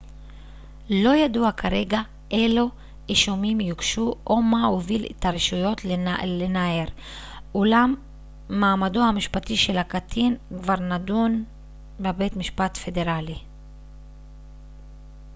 לא ידוע כרגע אילו אישומים יוגשו או מה הוביל את הרשויות לנער אולם מעמדו המשפטי של הקטין כבר נדון בבית משפט פדרלי